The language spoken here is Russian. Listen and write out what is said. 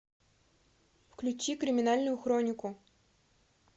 включи криминальную хронику